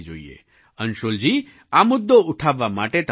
અંશુલજી આ મુદ્દો ઉઠાવવા માટે તમારો ધન્યવાદ